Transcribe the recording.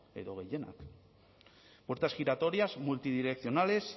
edo gehienak puertas giratorias multidireccionales